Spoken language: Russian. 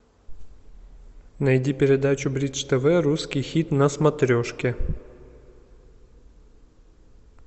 найди передачу бридж тв русский хит на смотрешке